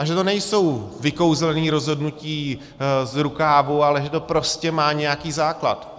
A že to nejsou vykouzlená rozhodnutí z rukávu, ale že to prostě má nějaký základ.